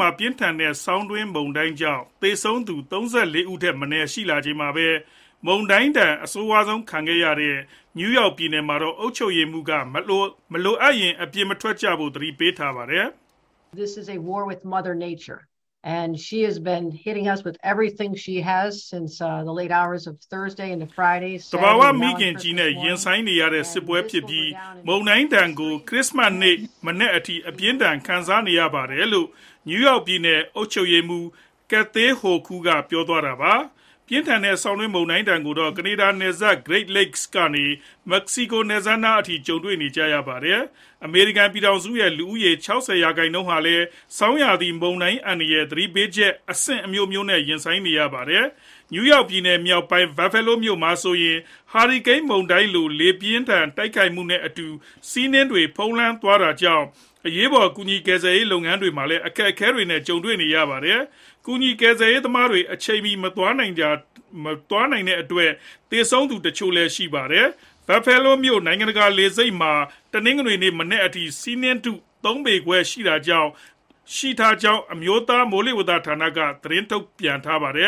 မှာ ပြင်းထန်တဲ့ ဆောင်းတွင်း မုန်တိုင်းကြောင့် သေဆုံးသူ ၃၄ ဦးထက်မနည်း ရှိလာချိန်မှာပဲ၊ မုန်တိုင်းဒဏ် အဆိုးဆုံးခံနေရတဲ့ နယူးယောက် ပြည်နယ်မှာတော့ အုပ်ချုပ်ရေးမှူးက မလိုအပ်ရင် အိမ်ပြင်မထွက်ကြဖို့ သတိပေးထားပါတယ်။ “သဘာဝမိခင်ကြီးနဲ့ ရင်ဆိုင်နေရတဲ့ စစ်ပွဲဖြစ်ပြီး၊ မုန်တိုင်းဒဏ်ကို ခရစ္စမတ်နေ့ မနက်အထိ အပြင်းအထန် ခံနေရပါတယ်။” လို့ နယူးယောက်ပြည်နယ် အုပ်ချုပ်ရေးမှူး Kathy Hochul က ပြောသွားတာပါ။ ပြင်းထန်တဲ့ ဆောင်းတွင်းမုန်တိုင်းဒဏ်ကိုတော့ ကနေဒါနိုင်ငံနယ်စပ် Great Lakes ကနေ မက္ကဆီကို နယ်စပ်နားအထိ ကြုံတွေ့နေကြရပါတယ်။ အမေရိကန် ပြည်ထောင်စုရဲ့ လူဦးရေ ၆ဝ ရာခိုင်နှုန်းဟာလည်း ဆောင်းရာသီ မုန်တိုင်း အန္တရာယ်၊ သတိပေးချက် အဆင့်အမျိုးမျိုးနဲ့ ရင်ဆိုင်နေကြရတာပါ။ နယူးယောက်ပြည်နယ် မြောက်ပိုင်း Buffalo မြို့မှာဆိုရင် ဟာရီကိန်းမုန်တိုင်းလို လေပြင်းတိုက်ခိုက်မှုနဲ့အတူ ဆီးနှင်းတွေ ဖုံးလွှမ်းနေတာကြောင့် အရေးပေါ် ကူညီကယ်ဆယ်ရေး လုပ်ငန်းတွေမှာလည်း အခက်အခဲတွေနဲ့ ကြုံနေရပါတယ်။ ကူညီကယ်ဆယ်ရေး သမားတွေ အချိန်မီမသွားနိုင်တာကြောင့် သေဆုံးရသူ တချို့လည်း ရှိနေတာပါ။ Buffalo Niagara နိုင်ငံတကာ လေဆိပ်မှာ တနင်္ဂနွေနေ့မနက်ပိုင်းက ဆီးနှင်းထု ၃ ပေခွဲလောက် ရှိခဲ့ကြောင်းလည်း အမျိုးသား မိုးလေဝသဌာနက သတင်းထုတ်ပြန်ခဲ့တာပါ။ လေ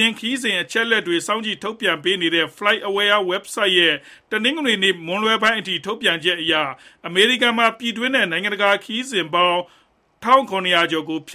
ယာဉ်ခရီးစဉ် အချက်အလက်တွေ စောင့်ကြည့်ထုတ်ပြန်ပေးနေတဲ့ FlightAware ဝဘ်ဆိုဒ်ရဲ့ တနင်္ဂနွေနေ့ မွန်းလွဲပိုင်းအထိ ထုတ်ပြန်ချက်အရ အမေရိကန်မှာ ပြည်တွင်းနဲ့ နိုင်ငံတကာ လေယာဉ်ခရီးစဉ်ပေါင်း ၁၇၀၀ ကျော်ကိုလည်း ဖျက်